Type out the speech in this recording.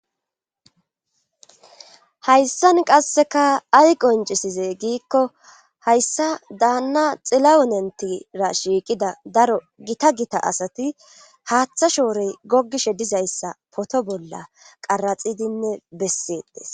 hayssan qasseka ay qoncisize giikko hayssa daanna xila unentira shiiqida daro gita gita asati haaththa shoorey gogishe dizayssa poto bolla qaraxidinne bessetes